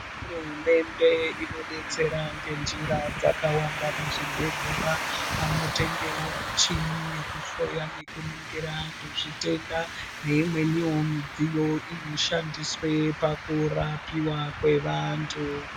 Hurumende inodetsera ngenjira dzakawanda muzvibhedhlera vanotengewo muchini yekuhloya nekuningira antu zvitenda neimweniwo midziyo inoshandiswe pakurapiwa kwevantu.